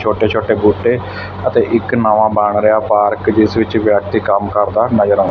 ਛੋਟੇ-ਛੋਟੇ ਬੂਟੇ ਅਤੇ ਇੱਕ ਨਵਾਂ ਬਣ ਰਿਹਾ ਪਾਰਕ ਜਿਸ ਵਿੱਚ ਵਿਅਕਤੀ ਕੰਮ ਕਰਦਾ ਨਜ਼ਰ ਆਉ --